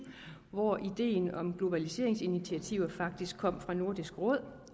hvor ideen om globaliseringsinitiativer faktisk kom fra nordisk råd